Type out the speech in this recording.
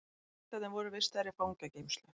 Piltarnir voru vistaðir í fangageymslu